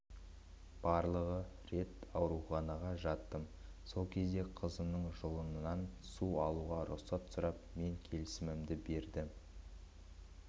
барлығы рет ауруханаға жаттым сол кезде қызымның жұлынынан су алуға рұқсат сұрап мен келісімімді бердім